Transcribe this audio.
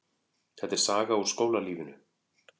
Þetta er saga úr skólalífinu.